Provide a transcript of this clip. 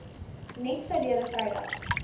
net verlede vrydag